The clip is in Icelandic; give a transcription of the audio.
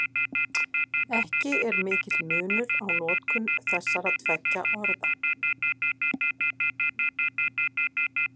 Ekki er mikill munur á notkun þessara tveggja orða.